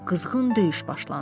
Qızğın döyüş başlandı.